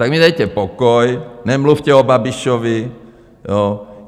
Tak mi dejte pokoj, nemluvte o Babišovi.